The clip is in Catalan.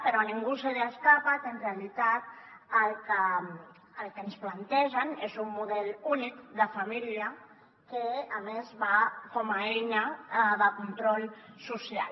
però a ningú se li escapa que en realitat el que ens plantegen és un model únic de família que a més va com a eina de control social